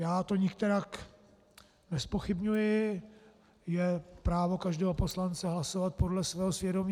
Já to nikterak nezpochybňuji, je právo každého poslance hlasovat podle svého svědomí.